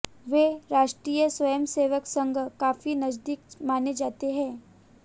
वे राष्ट्रीय स्वयंसेवक संघ काफी नजदीक माने जाते हैं